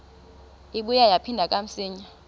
ibuye yaphindela kamsinya